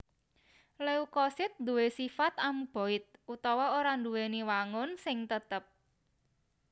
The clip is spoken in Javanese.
Leukosit duwé sifat amuboid utawa ora nduwèni wangun sing tetep